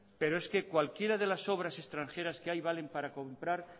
pero es que cualquiera de las obras extranjeras que hay valen para comprar